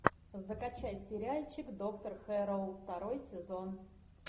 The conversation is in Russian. закачай сериальчик доктор хэрроу второй сезон